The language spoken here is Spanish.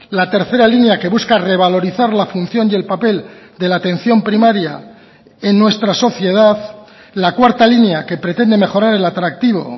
la tercera línea que busca revalorizar la función y el papel de la atención primaria en nuestra sociedad la cuarta línea que pretende mejorar el atractivo